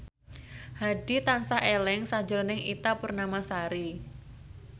Hadi tansah eling sakjroning Ita Purnamasari